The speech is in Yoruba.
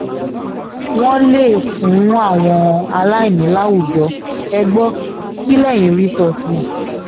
wọ́n lè fún àwọn aláìní láwùjọ ẹ gbọ́ kí lẹ́yìn rí sọ sí i